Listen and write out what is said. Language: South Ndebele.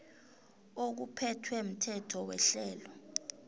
okuphethwe mthetho werhelo